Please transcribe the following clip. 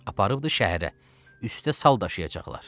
Apardıdı şəhərə, üstə sal daşıyacaqlar.